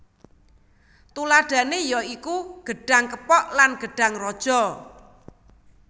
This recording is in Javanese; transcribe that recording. Tuladhané ya iku gedhang kepok lan gedhang raja